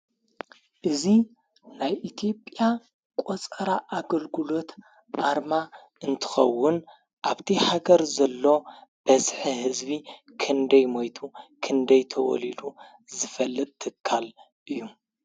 እዙ ናይ ኢቲጵያ ቖፀራ ኣገልግሎት ኣርማ እንትኸውን ኣብቲ ሓገር ዘሎ በስሐ ሕዝቢ ክንደይ ሞይቱ ክንደይ ተወሊሉ ዝፈልጥ ትካል እዩ።